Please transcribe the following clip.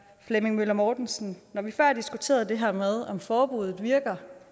flemming møller mortensen når vi før har diskuteret det her med om forbuddet virker